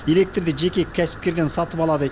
электрді жеке кәсіпкерден сатып алады